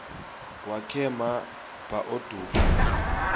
wakhe ma baoduke